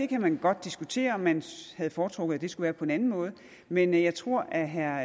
kan godt diskutere om man havde foretrukket at det skulle have været på en anden måde men jeg tror at herre